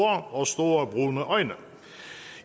og store brune øjne